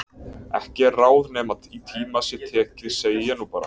Ekki er ráð nema í tíma sé tekið segi ég nú bara.